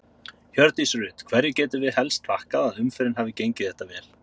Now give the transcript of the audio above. Hjördís Rut: Hverju getum við helst þakkað að umferðin hafi gengið þetta vel?